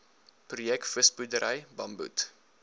projek visboerdery bamboed